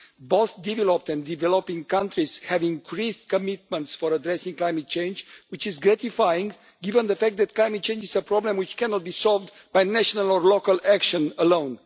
Both developed and developing countries have increased commitments for addressing climate change, which is gratifying, given the fact that climate change is a problem which cannot be solved by national or local action alone.